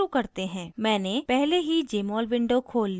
मैंने पहले ही jmol window खोल ली है